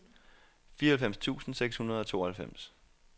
fireoghalvfems tusind seks hundrede og tooghalvfems